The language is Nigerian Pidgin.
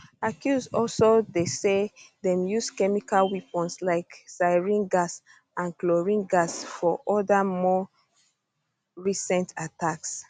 accuse also dey say dem use chemical weapons like sarin gas and chlorine gas for oda more recent attacks